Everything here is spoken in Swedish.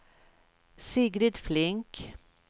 Sigrid Flink